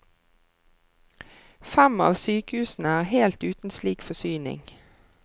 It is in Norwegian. Fem av sykehusene er helt uten slik forsyning.